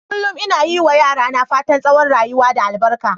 Kullum ina yi ma yara na fatan tsawon rayuwa da albaka.